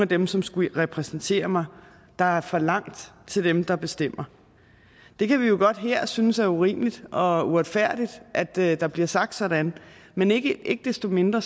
dem som skulle repræsentere mig der er for langt til dem der bestemmer vi kan jo godt her synes det er urimeligt og og uretfærdigt at der der bliver sagt sådan men ikke ikke desto mindre